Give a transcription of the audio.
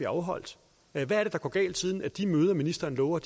afholdt hvad er det der går galt siden de møder ministeren lover